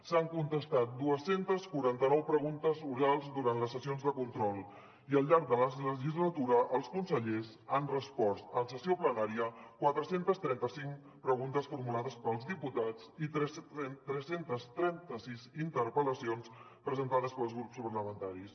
s’han contestat dos cents i quaranta nou preguntes orals durant les sessions de control i al llarg de la legislatura els consellers han respost en sessió plenària quatre cents i trenta cinc preguntes formulades pels diputats i tres cents i trenta sis interpel·lacions presentades pels grups parlamentaris